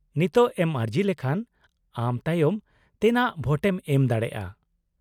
-ᱱᱤᱛᱳᱜ ᱮᱢ ᱟᱹᱨᱡᱤ ᱞᱮᱠᱷᱟᱱ ᱟᱢ ᱛᱟᱭᱚᱢ ᱛᱮᱱᱟᱜ ᱵᱷᱳᱴᱮᱢ ᱮᱢ ᱫᱟᱲᱮᱭᱟᱜᱼᱟ ᱾